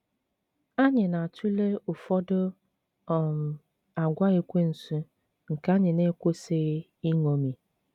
Anyị na atụle ụfọdụ um àgwà Ekwensu nke anyị na-ekwesịghị iṅomi.